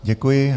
Děkuji.